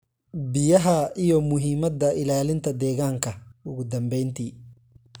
biyaha iyo muhiimadda ilaalinta deegaanka. Ugu dambeyntii.